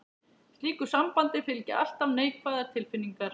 Slíku sambandi fylgja alltaf neikvæðar tilfinningar.